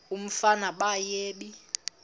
umfana baye bee